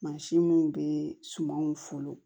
Mansin minnu bɛ sumanw folon